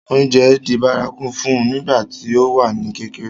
oúnjẹ di bárakú fún un nígbà tí ó wà ní kékeré